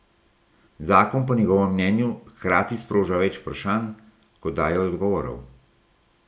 Zakon po njegovem mnenju hkrati sproža več vprašanj, kot daje odgovorov.